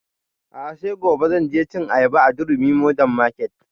A'a sai gobe zan je cin ayaba a durumi modern market